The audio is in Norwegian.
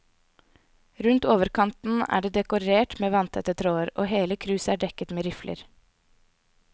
Rundt overkanten er det dekorert med vannrette tråder, og hele kruset er dekket med rifler.